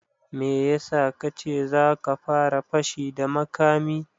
Me ya sa ka ce za ka fara fashi da makami